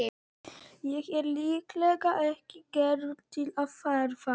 Ég er líklega ekki gerður til að ferðast.